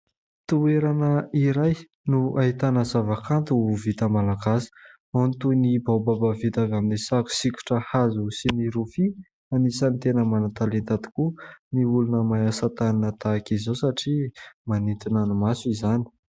Toerana iray no ahitana zava-kanto vita Malagasy ; ao ny toy ny baobaba vita avy amin'ny sary sokitra hazo sy ny rofia ; anisan'ny tena manan-talenta tokoa ny olona mahay asa tanana tahaka izao satria manintona ny maso izany.